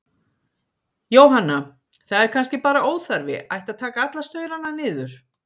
Jóhanna: Það er kannski bara óþarfi, ætti að taka alla staurana niður?